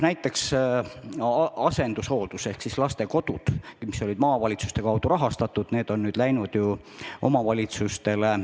Näiteks asendushooldus ehk lastekodud, mis olid maavalitsuste kaudu rahastatud, on nüüd läinud omavalitsustele.